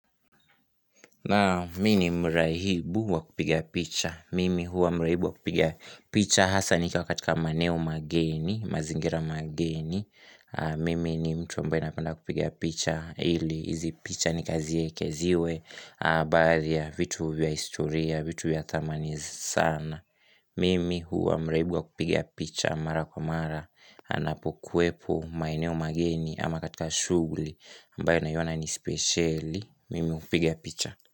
Naam mimi ni mrahibu wakupiga picha. Mimi huwa mrahibu wakupiga picha hasa nikiwa katika maeneo mageni, mazingira mageni. Mimi ni mtu ambaye napenda kupiga picha ili. Izi picha nikaziekeziwe. Baadhi ya vitu vya historia, vitu vya thamani sana. Mimi huwa mrahibu wakupiga picha mara kwa mara. Anapokwepo maeneo mageni ama katika shughuli ambayo naiona ni speciali. Mimi hupiga picha.